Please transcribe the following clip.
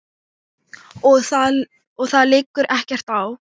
Og það liggur ekkert á.